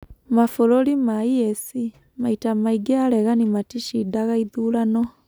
mabũrũrinĩ ma EAC, maita maingĩ aregani maticindaga ithurano